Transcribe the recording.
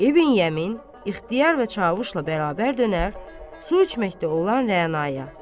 İbn Yəmin, ixtiyar və Çavuşla bərabər dönər su içməkdə olan Rəna-ya.